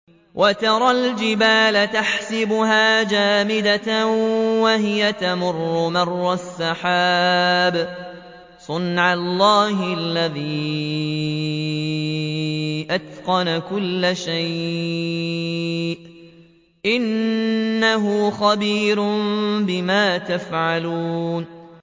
وَتَرَى الْجِبَالَ تَحْسَبُهَا جَامِدَةً وَهِيَ تَمُرُّ مَرَّ السَّحَابِ ۚ صُنْعَ اللَّهِ الَّذِي أَتْقَنَ كُلَّ شَيْءٍ ۚ إِنَّهُ خَبِيرٌ بِمَا تَفْعَلُونَ